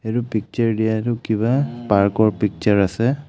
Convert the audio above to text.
এইটো পিকচাৰ দিয়াটো কিবা পাৰ্ক ৰ পিকচাৰ আছে.